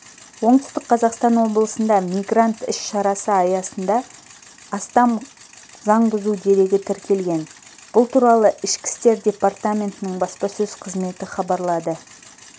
оңтүстік қазақстан облысында мигрант іс шарасы аясында астам заң бұзу дерегі тіркелген бұл туралы ішкі істер департаментінің баспасөз қызметі хабарлады